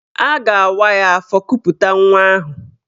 A ga-awa ya afọ kuputa nwa ahụ.